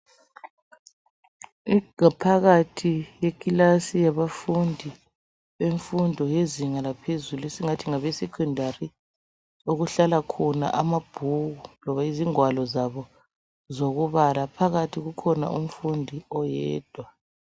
Ingaphakathi yekilasi yabafundi bemfundo yezinga laphezulu esithi ngabe sekhondari okuhlala khona amabhuku loba izingwalo zabo zokubala phakathi kukhona umfundi oyedwa.